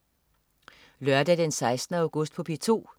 Lørdag den 16. august - P2: